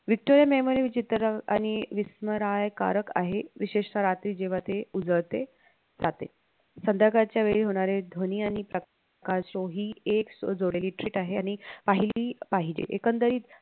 Victoria memorial चित्र आणि विसमर्यकारक आहे विशेषतः रात्री जेव्हा ते उजळते जाते संध्याकाळच्या वेळी होणाऱ्या ध्वनी आणि प्रकाश जोही एक आहे आणि आहि पाहिजे एकंदरीत